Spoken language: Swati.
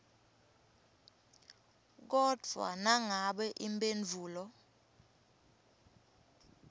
kodvwa nangabe imphendvulo